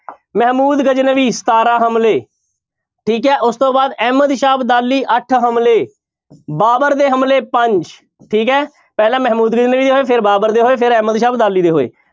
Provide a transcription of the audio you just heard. ਮਹਿਮੂਦ ਗਜਨਵੀਂ ਸਤਾਰਾਂ ਹਮਲੇ, ਠੀਕ ਹੈ ਉਸ ਤੋਂ ਬਾਅਦ ਅਹਿਮਦ ਸ਼ਾਹ ਅਬਦਾਲੀ ਅੱਠ ਹਮਲੇ ਬਾਬਰ ਦੇ ਹਮਲੇ ਪੰਜ, ਠੀਕ ਹੈ ਪਹਿਲਾਂ ਮਹਿਮੂਦ ਗਜਨਵੀ ਦੇ ਹੋਏ, ਫਿਰ ਬਾਬਰ ਦੇ ਹੋਏ, ਫਿਰ ਅਹਿਮਦ ਸ਼ਾਹ ਅਬਦਾਲੀ ਦੇ ਹੋਏ।